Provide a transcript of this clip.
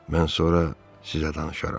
Mən sonra sizə danışaram.